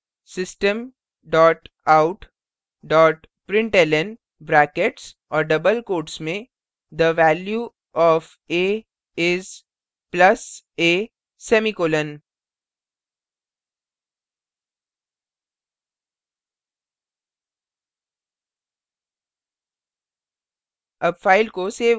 फिर type करें system dot out dot println brackets और double quotes में the value of a is plus a semicolon